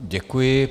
Děkuji.